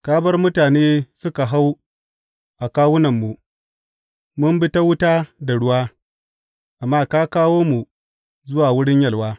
Ka bar mutane suka hau a kawunanmu; mun bi ta wuta da ruwa, amma ka kawo mu zuwa wurin yalwa.